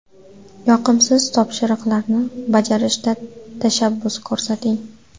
Yoqimsiz topshiriqlarni bajarishda tashabbus ko‘rsating.